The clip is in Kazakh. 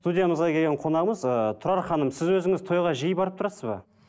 студиямызға келген қонағымыз ыыы тұрар ханым сіз өзіңіз тойға жиі барып тұрасыз ба